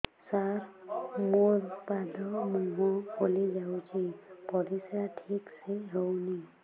ସାର ମୋରୋ ପାଦ ମୁହଁ ଫୁଲିଯାଉଛି ପରିଶ୍ରା ଠିକ ସେ ହଉନି